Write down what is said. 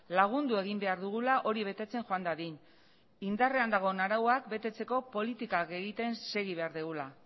lagundu egin behar dugula hori betetzen joan dadin indarrean dagoen arauak betetzeko politikak egiten segi behar dugula